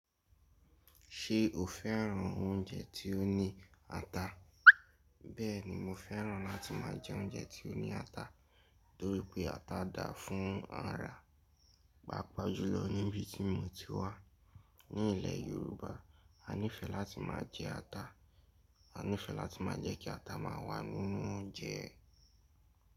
Ṣé o fẹ́ran oúnjẹ tí ó ní ata? Bẹ́ẹ̀ ni, mo fẹ́ran láti má jẹ oúnjẹ tí ó ní ata, torí pé ata dáa fún ara. Pagbajúlọ níbi tí mo ti wá, ní ilẹ̀ Yorùbá, a nífẹ́ láti má jẹ ata, a nífẹ́ láti má jẹ́ kí ata má wà nínú oúnjẹ.